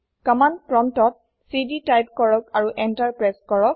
command প্ৰম্পতত CD type কৰক আৰু এন্টাৰ প্ৰেচ কৰক